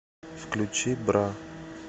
включи бра